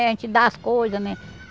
A gente dá as coisas, né?